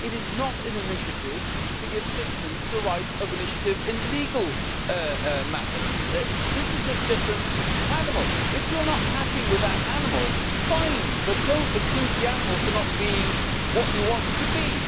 It is not an initiative to give citizens the right of initiative in legal matters that is a different animal. If you are not happy with that animal, fine, but do not accuse the animal of not being what you want it to be.